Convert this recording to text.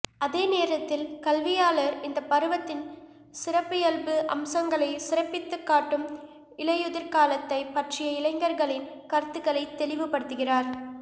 அதே நேரத்தில் கல்வியாளர் இந்த பருவத்தின் சிறப்பியல்பு அம்சங்களை சிறப்பித்துக் காட்டும் இலையுதிர்காலத்தைப் பற்றிய இளைஞர்களின் கருத்துக்களை தெளிவுபடுத்துகிறார்